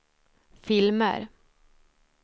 filmer